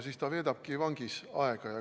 Siis ta veedab vangis aega.